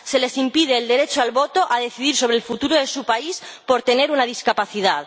se les impide ejercer el derecho al voto, a decidir sobre el futuro de su país, por tener una discapacidad.